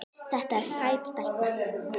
Þetta er sæt stelpa.